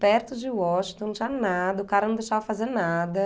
Perto de Washington, não tinha nada, o cara não deixava fazer nada.